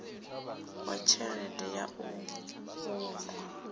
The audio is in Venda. wa tshelede ya u unḓa